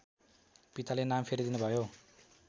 पिताले नाम फेरिदिनुभयो